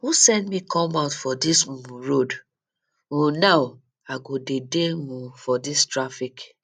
who send me come out for dis um road um now i go dey dey um for dis traffic